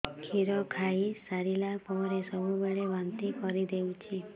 କ୍ଷୀର ଖାଇସାରିଲା ପରେ ସବୁବେଳେ ବାନ୍ତି କରିଦେଉଛି